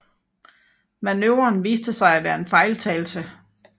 Manøvren viste sig at være en fejltagelse